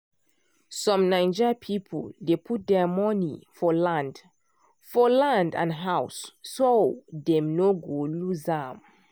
some naija people dey put their money for land for land and house so dem no go lose am.